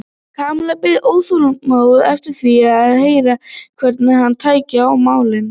Kamilla beið óþolinmóð eftir því að heyra hvernig hann tæki á málinu.